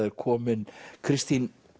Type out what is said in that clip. er komin Kristín